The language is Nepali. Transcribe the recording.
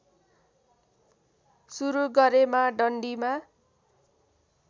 सुरु गरेमा डन्डीमा